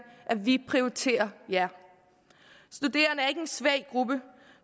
vi prioriterer jer studerende er ikke en svag gruppe